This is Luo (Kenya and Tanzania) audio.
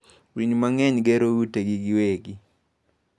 Winy mang'eny gero utegi giwegi.